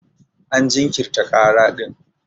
An jinkirta kara din.